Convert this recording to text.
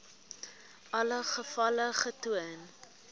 alle gevalle getoon